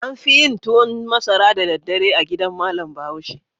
An fi yin tuwan masara da daddare a gidan malam Bahaushe.